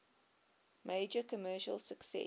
major commercial success